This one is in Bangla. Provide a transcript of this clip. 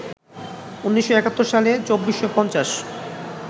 ১৯৭১ সালে ২৪৫০